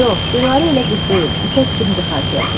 Yox, Dilarə elə qız deyil, ipək kimidir xasiyyəti.